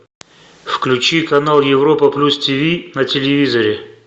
включи канал европа плюс тв на телевизоре